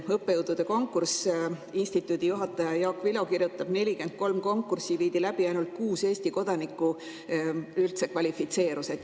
Õppejõudude konkursi kohta kirjutab instituudi juhataja Jaak Vilo, et 43 konkurssi viidi läbi, aga ainult kuus Eesti kodanikku kvalifitseerus.